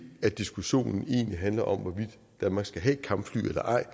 at diskussionen egentlig handler om hvorvidt danmark skal have kampfly eller ej